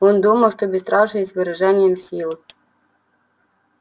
он думал что бесстрашие есть выражение силы